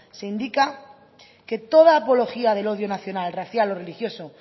se indica que toda apología del odio nacional racial o religioso